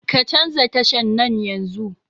Ka canza tashan nan yanzun